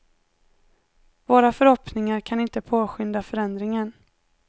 Våra förhoppningar kan inte påskynda förändringen.